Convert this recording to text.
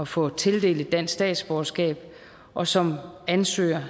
få tildelt et dansk statsborgerskab og som ansøger